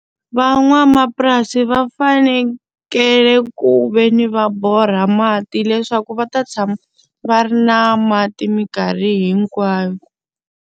Van'wamapurasi va fanekele ku ve ni va borha mati leswaku va ta tshama va ri na mati minkarhi hinkwayo.